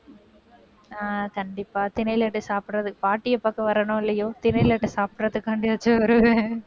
ஆஹ் கண்டிப்பா திணை லட்டு சாப்பிடறது~ பாட்டியை பார்க்க வர்றேனோ இல்லையோ திணை லட்டு சாப்பிடறதுக்காண்டியாச்சு வருவேன்